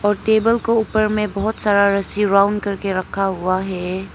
Table को ऊपर में बहुत सारा रस्सी राउंड करके रखा हुआ है।